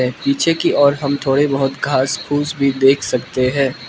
पीछे की और हम थोड़े बहोत घास फूस भी देख सकते हैं।